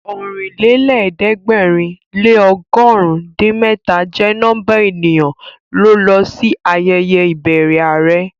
Ọ̀rìnlẹ́lẹ̀ẹ́dẹ̀gbẹ̀rin lé ọgọ̀run din mẹ́ta jẹ́ nọ́mbà ènìyàn ló lọ sí ayẹyẹ ìbẹrẹ are